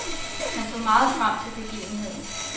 Han så meget frem til begivenheden.